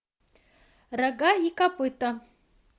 рога и копыта